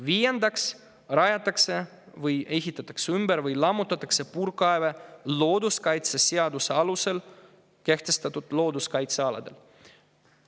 Viiendaks, kui rajatakse, ehitatakse ümber või lammutatakse puurkaeve looduskaitseseaduse alusel kehtestatud looduskaitsealadel.